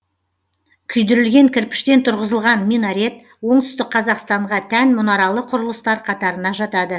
күйдірілген кірпіштен тұрғызылған минарет оңтүстік қазақстанға тән мұнаралы құрылыстар қатарына жатады